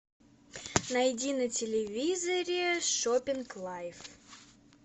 найди на телевизоре шопинг лайф